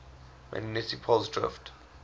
magnetic poles drift